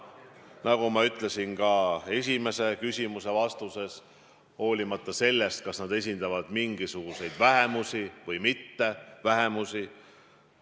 Nagu ma ütlesin ka esimese küsimuse vastuses: seda olenemata sellest, kas inimesed esindavad mingisuguseid vähemusi või mittevähemusi.